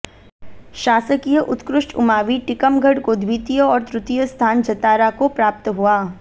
शासकीय उत्कृष्ट उमावि टीकमगढ़ को द्वितीय और तृतीय स्थान जतारा को प्राप्त हुआ